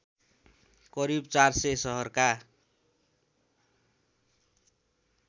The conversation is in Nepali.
करिब ४०० सहरका